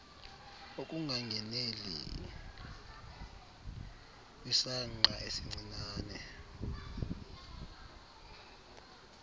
ukungangeneli kwisangqa esincinane